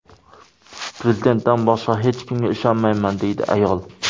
Prezidentdan boshqa hech kimga ishonmayman”, deydi ayol.